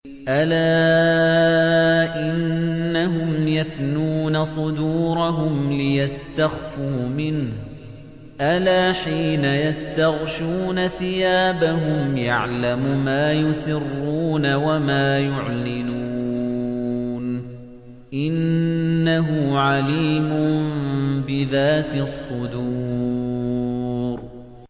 أَلَا إِنَّهُمْ يَثْنُونَ صُدُورَهُمْ لِيَسْتَخْفُوا مِنْهُ ۚ أَلَا حِينَ يَسْتَغْشُونَ ثِيَابَهُمْ يَعْلَمُ مَا يُسِرُّونَ وَمَا يُعْلِنُونَ ۚ إِنَّهُ عَلِيمٌ بِذَاتِ الصُّدُورِ